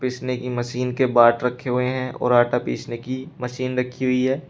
पीसने की मशीन के बाट रखे हुए हैं और आटा पीसने की मशीन रखी हुई है।